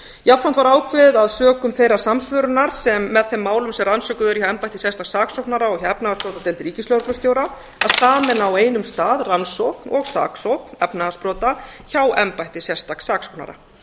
jafnframt var ákveði að sökum þeirrar samsvörunar sem með þeim málum sem rannsökuð eru hjá embætti sérstaks saksóknara og hjá efnahagsbrotadeild ríkislögreglustjóra að sameina á einum stað rannsókn og saksókn efnahagsbrota hjá embætti sérstaks saksóknara